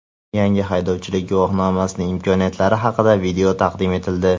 Yangi haydovchilik guvohnomasining imkoniyatlari haqida video taqdim etildi.